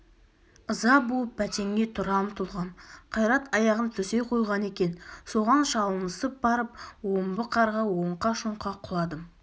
ыза буып бәтенге тұра ұмтылғам қайрат аяғын төсей қойған екен соған шалынысып барып омбы қарға оңқа-шоңқа құладым